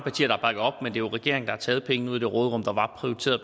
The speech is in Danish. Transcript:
jo regeringen der har taget pengene ud af det råderum der var